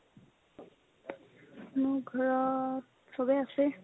মোৰ ঘৰত চবে আছে ।